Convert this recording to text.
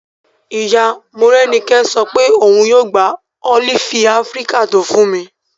Ìyá Morẹ́nikẹ́ sọ pé òun yóò gba ólífì áfíríkà tó fún mi